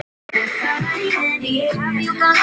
Ég verði að vera glöð.